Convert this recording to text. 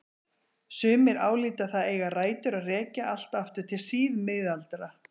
Sumir álíta það eiga rætur að rekja allt aftur til síðmiðalda.